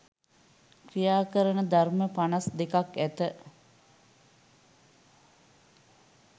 ක්‍රියා කරන ධර්ම පනස් දෙකක් ඇත